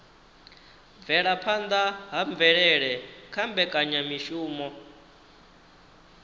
bvelaphanda ha mvelele kha mbekanyamishumo